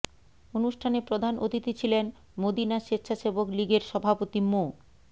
অনুষ্ঠানে প্রধান অতিথি ছিলেন মদিনা স্বেচ্ছাসেবক লীগের সভাপতি মো